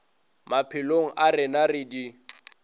maphelong a rena re di